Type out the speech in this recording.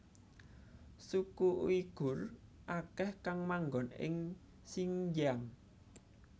Suku Uighur akeh kang manggon ing Xinjiang